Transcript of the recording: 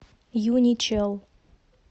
юничел